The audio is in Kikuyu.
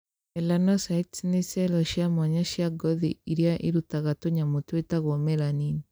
Melanocytes nĩ cero cia mwanya cia ngothi iria irutaga tũnyamũ twĩtagwo melanin